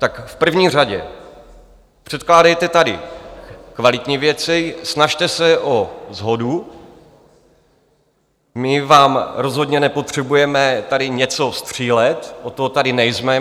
Tak v první řadě, předkládejte tady kvalitní věci, snažte se o shodu, my vám rozhodně nepotřebujeme tady něco střílet, od toho tady nejsme.